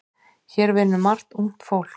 Hér vinnur margt ungt fólk.